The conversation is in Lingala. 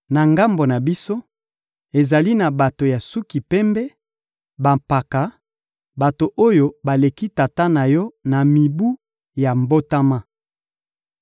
Na ngambo na biso, ezali na bato ya suki pembe, bampaka, bato oyo baleki tata na yo na mibu ya mbotama.